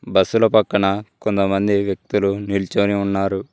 బస్సుల పక్కన కొంతమంది వ్యక్తులు నిల్చొని ఉన్నారు.